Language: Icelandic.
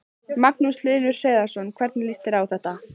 Magnús Hlynur Hreiðarsson: Hvernig líst þér á þetta?